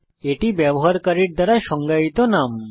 এটি ব্যবহারকারীর দ্বারা সংজ্ঞায়িত নাম